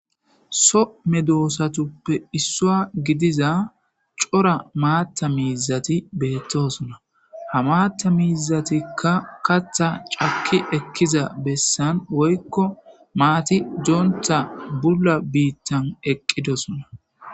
So medosatappe isuwa gidida co,ra matha mizati betosona ha matha mizatika katha ca,ki ekida besan woyiko mathi dontha bula bithan dosona